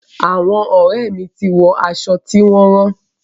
Àwọn ọ̀rẹ́ mi ti wọ aṣọ tí wọn rán.